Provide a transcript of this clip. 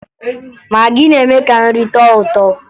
Magị na-eme ka nri tọọ ụtọ